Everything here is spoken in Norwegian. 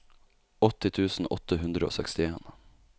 åtti tusen åtte hundre og sekstien